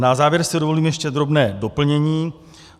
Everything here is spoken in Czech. Na závěr si dovolím ještě drobné doplnění.